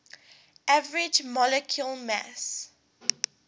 average molecular mass